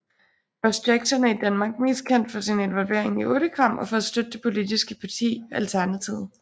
Ross Jackson er i Danmark mest kendt for sin involvering i Urtekram og for at støtte det politiske parti Alternativet